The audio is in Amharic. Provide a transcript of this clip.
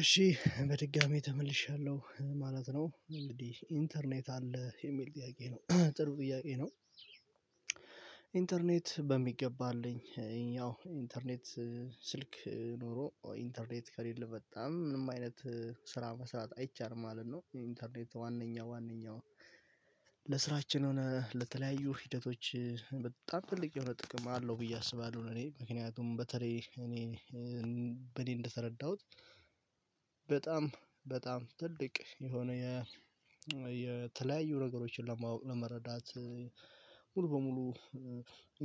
እሺ በድጋሚ ተመልሻለሁ ማለት ነው። እንግዲህ ኢንተርኔት አለ የሚል ጥያቄ ነው። ጥሩ ጥያቄ ነው። ኢንተርኔት በሚገባ አለኝ። ይሄኛው ኢንተርኔት ስልክ ኖሮ ኢንተርኔት ከሌለ በጣም ምንም አይነት ስራ መስራት አይቻልም ማለት ነው። የኢንተርኔት ዋነኛው ዋነኛው ለስራችን ሆነ ለተለያዩ ሂደቶች በጣም ትልቅ የሆነ ጥቅም አለው ብዬ አስባለሁ። ለኔ ምክንያቱም በተለይ እኔ በእኔ እንደተረዳሁት በጣም በጣም ትልቅ የሆነ የ የተለያዩ ነገሮችን ለማወቅ ለመረዳት ሙሉ በሙሉ